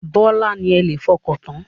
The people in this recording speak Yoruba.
Bọ́lá ni ẹ lè fọkàntán.